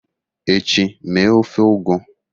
echi, mee ofe ugu!